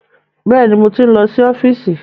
Bẹ́ẹ̀ni, mo ti ń lọ sí ọ́fíìsì.